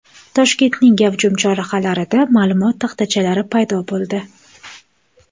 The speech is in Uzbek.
Toshkentning gavjum chorrahalarida ma’lumot taxtachalari paydo bo‘ldi.